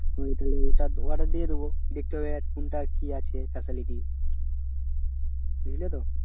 order দিয়ে দেবো দেখতে হবে কোনটার কি আছে facility বুঝলে তো